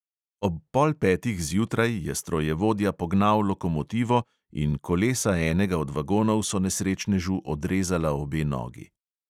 Ob pol petih zjutraj je strojevodja pognal lokomotivo in kolesa enega od vagonov so nesrečnežu odrezala obe nogi.